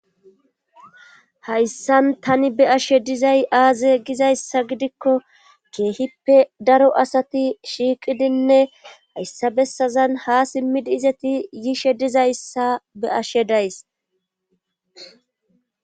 hayssan tani be'ashe dizay aaze gizayssa gidikko keehippe daro asati shiiqidinne hayssa bessazan ha simmidi izeti yiishe dizayssa be'ashe dayis.